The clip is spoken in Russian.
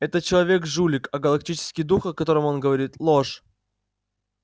этот человек жулик а галактический дух о котором он говорит ложь